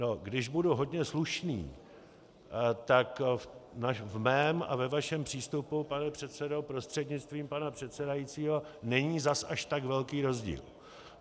No když budu hodně slušný, tak v mém a ve vašem přístupu, pane předsedo prostřednictvím pana předsedajícího, není zas až tak velký rozdíl.